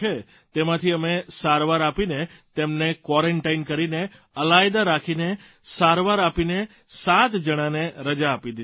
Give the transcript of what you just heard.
તેમાંથી અમે સારવાર આપીને તેમને ક્વોરન્ટાઇન કરીને અલાયદા રાખીને સારવાર આપીને સાત જણને રજા આપી દીધી છે સર